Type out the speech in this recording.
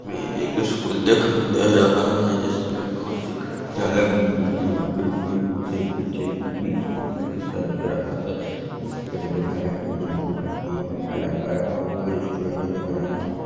ये एक स्कूल दिखाई दे रहा है जिसमें बहुत ही खिड़कियां लगी हुई है और खिड़कियों में से पीछे भी स्कूल का हिस्सा दिख रहा है एक फील्ड दिख रहे है और स्टूडेंट दिख रहे है।